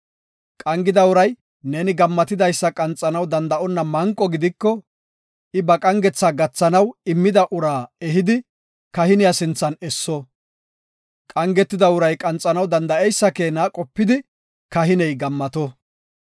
Qangida uray neeni gammatidaysa qanxanaw danda7onna manqo gidiko, I ba qangetha gathanaw immida uraa ehidi kahiniya sinthan esso; qangetida uray qanxanaw danda7eysa keena qopidi kahiney gammato.